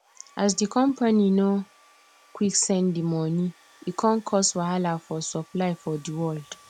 as d company nor quick send de moni e come cause wahala for supply for d world